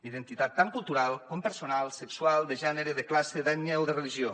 identitat tant cultural com personal sexual de gènere de classe d’ètnia o de religió